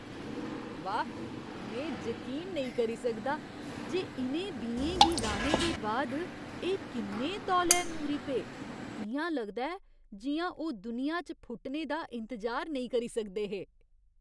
वाह्, में जकीन नेईं करी सकदा जे इ'नें बीएं गी राह्ने दे बाद एह् किन्ने तौले ङूरी पे। इ'यां लगदा ऐ जि'यां ओह् दुनिया च फुटने दा इंतजार नेईं करी सकदे हे!